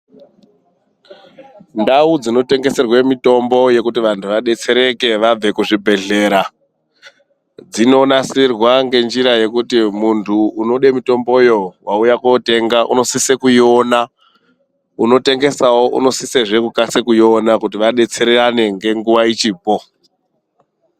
Ndau dzinotengeserwe mitombo yekuti vantu vabetsereke vabve kuzvibhedhlera. Dzinonasirwa ngenjira yekuti muntu unode mutomboyo vauyakotenga unosise kuiona. Unotengesazve unosise kukasi kuiona kuti vabetserane nenguva ichipo.